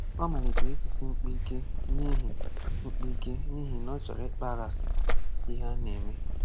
Ọ malitere itisi mkpu ike n’ihi mkpu ike n’ihi na ọ chọrọ ịkpaghasị ihe a na-eme.